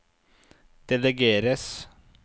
delegeres